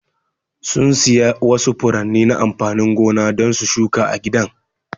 Sun siya wasu furanni na amfanin gona don su shuka a gidan.